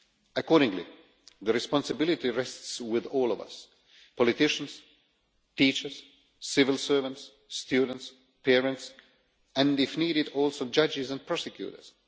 Accordingly the responsibility rests with all of us politicians, teachers, civil servants, students, parents, and if needed also judges and prosecutors.